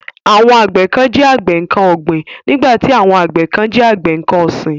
Àwọn àgbẹ kán jẹ́ àgbẹ nǹkan ọ̀gbìn nígbàtí àwọn àgbẹ kán jẹ́ àgbẹ nǹkan ọ̀sìn.